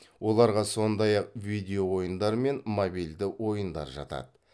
оларға сондай ақ видео ойындар мен мобильді ойындар жатады